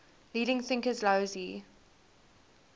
leading thinkers laozi